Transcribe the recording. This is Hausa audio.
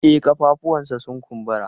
E, ƙafafuwanshi sun kumbura.